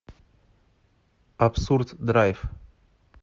абсурд драйв